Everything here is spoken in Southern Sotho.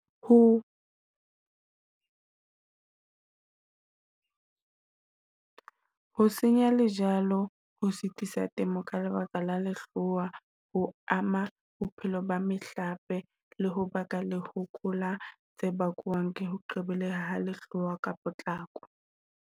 Ho ho senya lejalo, ho sitisa temo ka lebaka la lehloa ho ama bophelo ba mehlape le ho baka lehoko la tse bakwang, ke ha lehlwa ka potlako.